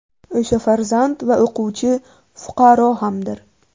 O‘sha farzand va o‘quvchi fuqaro hamdir.